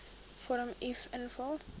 vorm uf invul